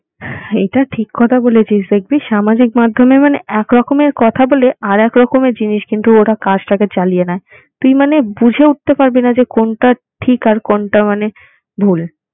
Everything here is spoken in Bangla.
এটা ঠিক কথা বলেছিস। দেখবি সামাজিক মাধ্যমে মানে এক রকমের কথা বলে আর একরকমের জিনিস কিন্তু ওরা কাজটাকে চালিয়ে নেয়। তুই মানে বুঝে উঠতে পারবি না যে কোনটা ঠিক আর কোনটা মানে ভুল।